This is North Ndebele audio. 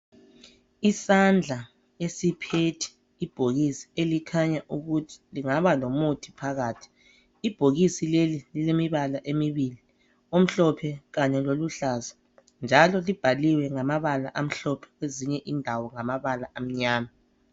Isandla esiphethe ibhokisi elikhanya ukuthi lingaba lomuthi phakathi . Ibhokisi leli lilemibala emibili , omhlophe Kanye loluhlaza .Njalo libhaliwe ngamabala amhlophe kwezinye indawo ngamabala amnyama.